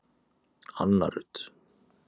Anna Rut